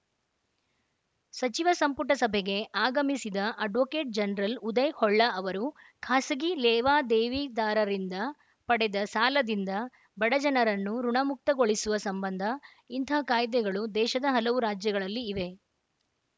ಸಚಿವ ಸಂಪುಟ ಸಭೆಗೆ ಆಗಮಿಸಿದ ಅಡ್ವೋಕೇಟ್‌ ಜನರಲ್‌ ಉದಯ ಹೊಳ್ಳ ಅವರು ಖಾಸಗಿ ಲೇವಾದೇವಿದಾರದಿಂದ ಪಡೆದ ಸಾಲದಿಂದ ಬಡಜನರನ್ನು ಋುಣಮುಕ್ತಗೊಳಿಸುವ ಸಂಬಂಧ ಇಂತಹ ಕಾಯ್ದೆಗಳು ದೇಶದ ಹಲವು ರಾಜ್ಯಗಳಲ್ಲಿ ಇವೆ